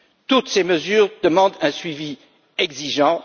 Toutes ces mesures demandent un suivi exigeant